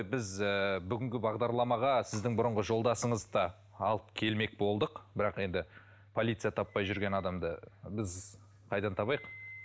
біз ыыы бүгінгі бағдарламаға сіздің бұрынғы жолдасыңызды да алып келмек болдық бірақ енді полиция таппай жүрген адамды біз қайдан табайық